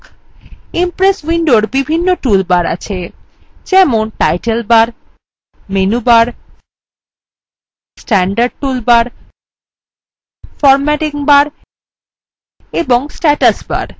impress window বিভিন্ন tool bars আছে যেমন title bars menu bars standard toolbar formatting bars এবং status bars